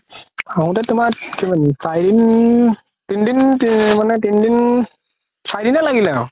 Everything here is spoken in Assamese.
আহোতে তুমাৰ কিমান দিন চাৰি দিন তিন দিন মানে তিন দিন চাৰি দিনে লাগিলে আৰু